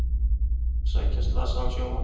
Sækja slasaðan sjómann